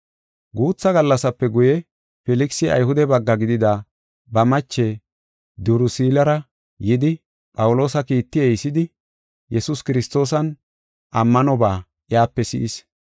Guutha gallasape guye, Filkisi Ayhude bagga gidida ba mache Dirusillara yidi Phawuloosa kiiti ehisidi Yesuus Kiristoosan ammanoba iyape si7is.